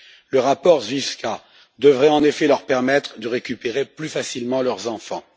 Le rapport Zwiefka devrait en effet leur permettre de récupérer plus facilement leurs enfants.